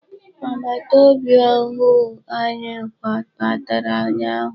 Agbataobi ọhụụ anyị kwabatara ụnyaahụ.